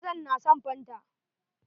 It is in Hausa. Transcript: Mazan na son fanta.